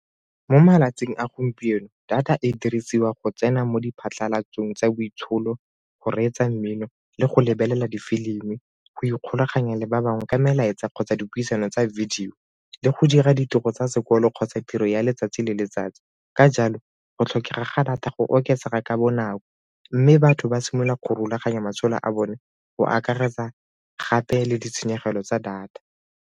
Mo malatsing a gompieno, data e dirisiwa go tsena mo diphatlalatsong tsa boitsholo, go reetsa mmino le go lebelela difilimi go ikgolaganya le ba bangwe ka melaetsa kgotsa dipuisano tsa video le go dira ditiro tsa sekolo kgotsa tiro ya letsatsi le letsatsi. Ka jalo, go tlhokega ga data go oketsega ka bonako mme batho ba simolola ka go rulaganya matshelo a bone go akaretsa gape le ditshenyegelo tsa data.